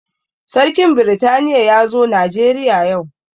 Sarkin britaniya ya zo najeriya yau